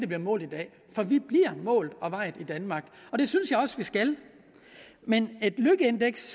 bliver mål i dag for vi bliver målt og vejet i danmark og det synes jeg også vi skal men et lykkeindeks